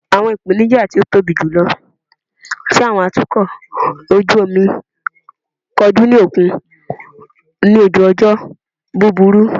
Awọn ipenija ti o tobi julọ ti awọn atukọ oju omi koju ni okun ni oju ojo buburu